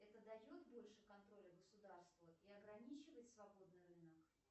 это дает больше контроля государству и ограничивает свободный рынок